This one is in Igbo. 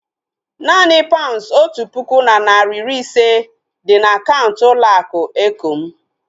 Naanị paunds otu puku na narị iri ise dị na akaụntụ ụlọ akụ eko m